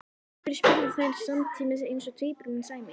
Af hverju? spurðu þær samtímis eins og tvíburum sæmir.